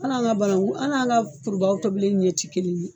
Hal'an ka banaku, hal'an ka kurubaga tobili ɲɛ tɛ kelen ye